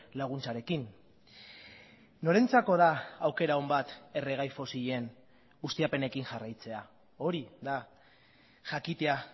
laguntzarekin norentzako da aukera on bat erregai fosilen ustiapenekin jarraitzea hori da jakitea